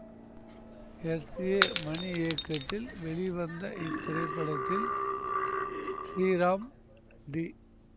S A Mani இயக்கத்தில் வெளிவந்த இத்திரைப்படத்தில் ஸ்ரீராம் டி